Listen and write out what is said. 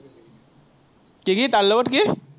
কি কি তাৰ লগত কি?